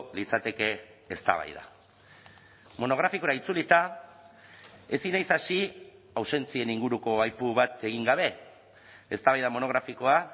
litzateke eztabaida monografikora itzulita ezin naiz hasi ausentzien inguruko aipu bat egin gabe eztabaida monografikoa